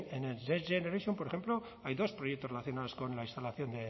en el next generation por ejemplo hay dos proyectos relacionados con la instalación